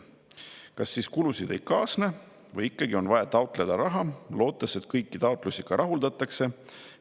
Kas sellega siis kulusid ei kaasne või ikkagi on vaja taotleda raha, lootes, et kõik taotlused ka rahuldatakse?